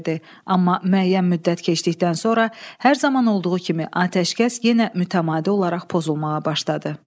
Amma müəyyən müddət keçdikdən sonra hər zaman olduğu kimi atəşkəs yenə mütəmadi olaraq pozulmağa başladı.